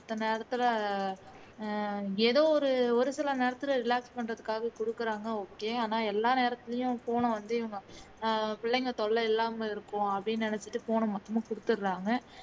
மற்ற நேரத்துல அஹ் ஏதோ ஒரு சில நேரத்துல relax பண்றதுக்காக குடுக்குறாங்க okay ஆனா எல்லா நேரத்துலயும் phone ஐ வந்து பிள்ளைக தொல்லை இல்லாம இருப்போம் அப்படின்னு நினைச்சுட்டு phone ஐ மொத்தமா குடுத்துடுறாங்க